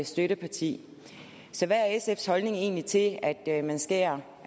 støtteparti så hvad er sfs holdning egentlig til at at man skærer